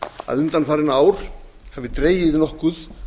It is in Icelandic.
að undanfarin ár hafi dregið nokkuð